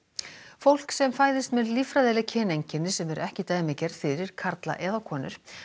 fólk sem fæðist með líffræðileg kyneinkenni sem eru ekki dæmigerð fyrir karla eða konur